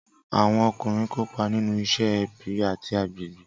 Awọn ọkunrin kopa ninu iṣẹ, ẹbi, ati agbegbe.